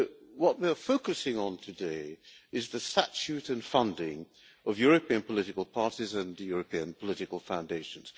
What we are focusing on today is the statute and funding of European political parties and European political foundations.